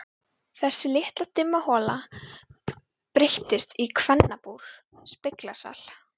Þessi litla dimma hola breyttist í kvennabúr, speglasal.